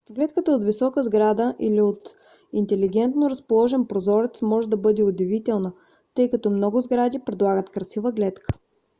гледката от висока сграда или от интелигентно разположен прозорец може да бъде удивителна тъй като много сгради предлагат красива гледка